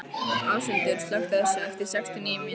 Áshildur, slökktu á þessu eftir sextíu og níu mínútur.